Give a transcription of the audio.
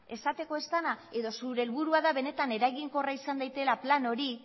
esateko ez dena edo zure helburua da benetan eraginkorra izan daitekeela plan hori